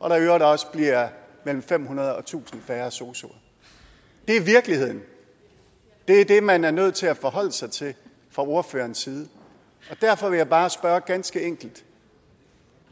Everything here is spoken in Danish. og at der i øvrigt også bliver mellem fem hundrede og tusind færre sosuer det er virkeligheden det er det man er nødt til at forholde sig til fra ordførerens side og derfor vil jeg bare spørge ganske enkelt